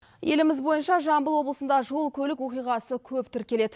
еліміз бойынша жамбыл облысында жол көлік оқиғасы көп тіркеледі